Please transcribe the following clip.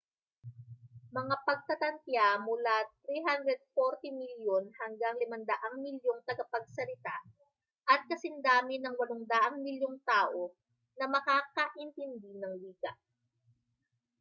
mga pagtatantiya mula 340 milyon hanggang 500 milyong tagapagsalita at kasindami ng 800 milyong tao na makakaintindi ng wika